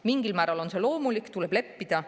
Mingil määral on see loomulik, tuleb leppida.